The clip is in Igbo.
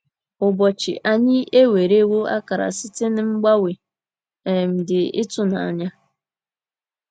Ụbọchị anyị ewerewo akara site n’ mgbanwe um dị ịtụnanya.